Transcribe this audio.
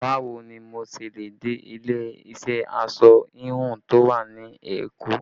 Báwo ni mo ṣe le dé ilé iṣẹ́ aṣọ híhun tó wà ní Èkó?